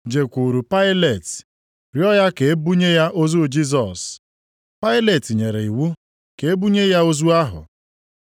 jekwuuru Pailet rịọọ ya ka e bunye ya ozu Jisọs. Pailet nyere iwu ka e bunye ya ozu ahụ.